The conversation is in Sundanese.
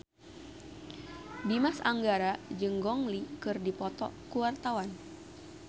Dimas Anggara jeung Gong Li keur dipoto ku wartawan